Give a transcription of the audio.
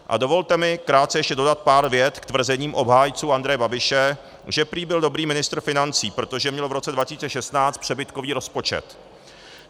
A dovolte mi krátce ještě dodat pár vět k tvrzením obhájců Andreje Babiše, že prý byl dobrý ministr financí, protože měl v roce 2016 přebytkový rozpočet.